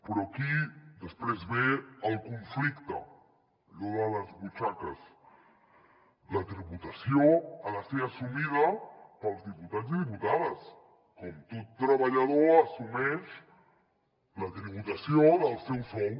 però aquí després ve el conflicte allò de les butxaques la tributació ha de ser assumida pels diputats i diputades com tot treballador assumeix la tributació del seu sou